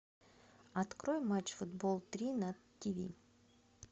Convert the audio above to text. открой матч футбол три на тиви